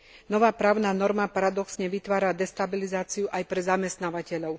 Nová právna norma paradoxne vytvára destabilizáciu aj pre zamestnávateľov.